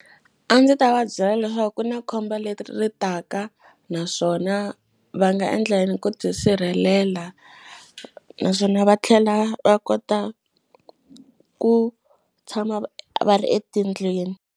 A ndzi ta va byela leswaku ku na khombo leri ri taka, naswona va nga endla yini ku tisirhelela. Naswona va tlhela va kota ku tshama va va ri etindlwini.